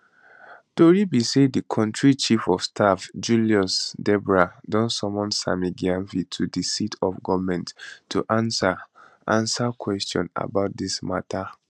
tori be say di kontri chief of staff julius debrah don summon sammy gyamfi to di seat of goment to answer answer questions about dis mata